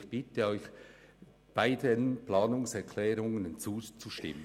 Ich bitte Sie, beiden Planungserklärungen zuzustimmen.